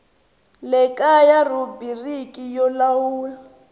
le kaya rhubiriki yo lawula